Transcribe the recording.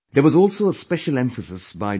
There was also a special emphasis by Dr